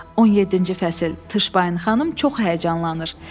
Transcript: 17-ci fəsil: Tışbayın xanım çox həyəcanlanır.